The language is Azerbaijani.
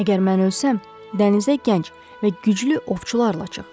Əgər mən ölsəm, dənizə gənc və güclü ovçularla çıx.